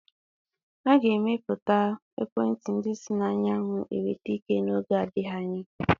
A ga-emepụta ekwentị ndi si n'anyanwụ enweta ike n'oge adịghị anya.